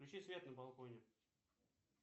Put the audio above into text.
включи свет на балконе